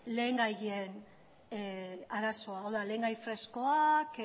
lehengaien arazoa hau dam lehengai freskoak